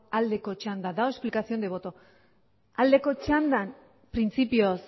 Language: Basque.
aldeko txanda dago explicación de voto aldeko txandan printzipioz